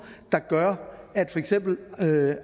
der gør at for eksempel